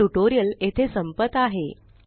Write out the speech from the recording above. हे ट्यूटोरियल येथे संपत आहे